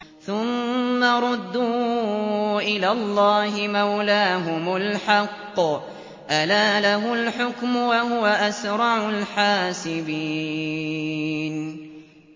ثُمَّ رُدُّوا إِلَى اللَّهِ مَوْلَاهُمُ الْحَقِّ ۚ أَلَا لَهُ الْحُكْمُ وَهُوَ أَسْرَعُ الْحَاسِبِينَ